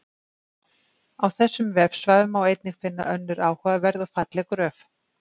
Á þessum vefsvæðum má einnig finna önnur áhugaverð og falleg gröf.